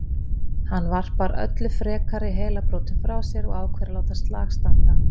Hann varpar öllum frekari heilabrotum frá sér og ákveður að láta slag standa.